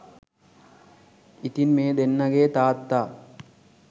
ඉතින් මේ දෙන්නගේ තාත්තා